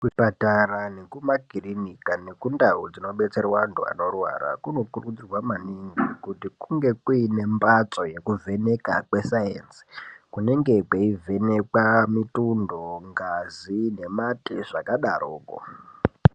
Kuzvipatara nekuma kirinika neku ndau dzinobetserwa antu anorwara kuno kurudzirwa maningi kuti kunge kuine mbatso yekuvheneka kwesaenzi kunenge kweivhenekwa mitundo, ngazi nemate zvakadaro koo.